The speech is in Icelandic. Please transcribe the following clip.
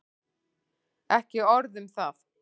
Ekki orð um það!